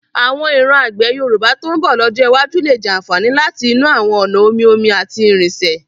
Àwọn ìran àgbẹ̀ Yorùbá tó ń bọ̀ lọ́jọ́ iwájú lè jàfààní láti inú àwọn ọ̀nà omi-omi àti irinṣẹ́.